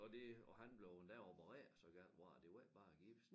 Og det og han blev endda opereret så galt var det det var ikke bare gips